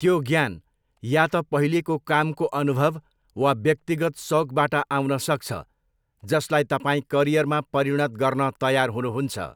त्यो ज्ञान या त पहिलेको कामको अनुभव वा व्यक्तिगत सौकबाट आउन सक्छ जसलाई तपाईँ करियरमा परिणत गर्न तयार हुनुहुन्छ।